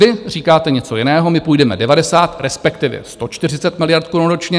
Vy říkáte něco jiného, my půjdeme 90, respektive 140 miliard korun ročně.